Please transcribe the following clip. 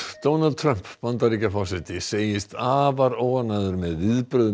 Donald Trump Bandaríkjaforseti segist afar óánægður með viðbrögð